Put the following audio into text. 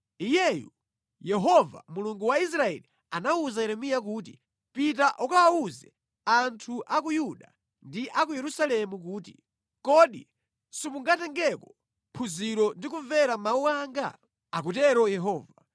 “Iyeyu, Yehova Mulungu wa Israeli anawuza Yeremiya kuti: Pita ukawawuze anthu a ku Yuda ndi a ku Yerusalemu kuti, ‘Kodi simungatengeko phunziro ndi kumvera mawu anga?’ akutero Yehova.